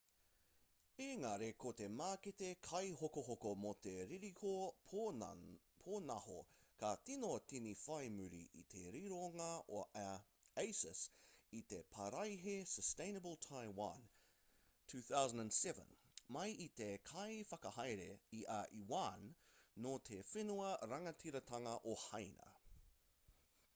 ēngari ko te mākete kaihokohoko mō te ririhiko pōnaho ka tīno tīni whai muri i te rironga a asus i te paraihe sustainable taiwan 2007 mai i te kaiwhakahaere i a yuan nō te whenua rangatiratanga o hāina